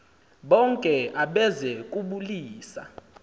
bonke abeze kubulisa